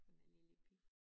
Hun er lille pige